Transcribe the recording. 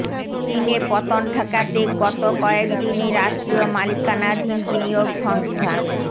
কিনে পতন ঠেকাতে গত কয়েক দিনে রাষ্ট্রীয় মালিকানাধীন বিনিয়োগ সংস্থা